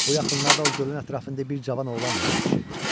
Bu yaxınlarda o gölün ətrafında bir cavan oğlanla gəzişirdi.